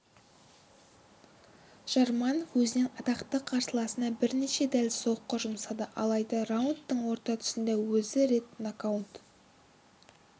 жарманов өзінен атақты қарсыласына бірнеше дәл соққы жұмсады алайда раундтың орта тұсында өзі рет нокдаун